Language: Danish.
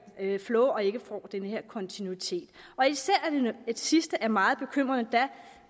flow og ikke får den her kontinuitet især det sidste er meget bekymrende da